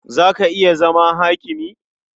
Za ka iya zama hakimi?